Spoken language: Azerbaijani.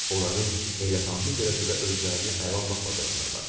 Onların heyrətamiz dərəcədə özlərini ələ almaq bacarıqları var.